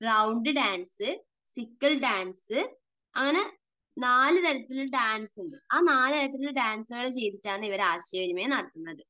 Round dance, sickle dance, അങ്ങനെ നാലു തരത്തിലുള്ള ഡാൻസ് ഉണ്ട്. ആ നാലു തരത്തിലുള്ള ഡാൻസുകൾ ചെയ്തിട്ടാണ് ഇവർ ആശയവിനിമയം നടത്തുന്നത്.